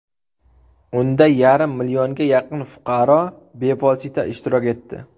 Unda yarim millionga yaqin fuqaro bevosita ishtirok etdi.